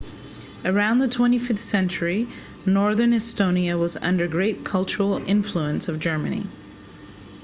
around the 15th century northern estonia was under great cultural influence of germany